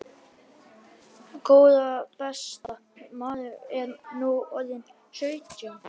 Góða besta. maður er nú orðinn sautján!